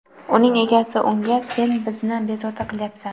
Uning egasi unga: Sen bizni bezovta qilayapsan.